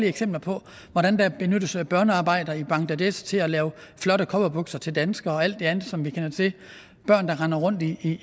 eksempler på hvordan der benyttes børnearbejdere i bangladesh til at lave flotte cowboybukser til danskere og alt det andet som vi kender til børn der render rundt i